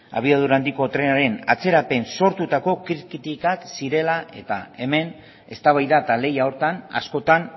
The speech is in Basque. abiadura handiko trenaren atzerapen sortutako kritikak zirela eta hemen eztabaida eta lehia horretan askotan